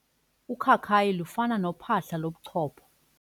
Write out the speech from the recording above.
Ukhakayi lufana nophahla lobuchopho.